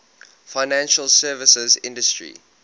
financial services industry